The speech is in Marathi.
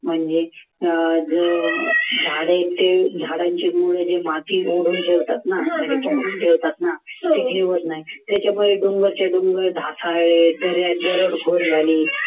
म्हणजे झाड ते झाडांची माती ओढून ठेवतात ना त्याच्यामुळे झाली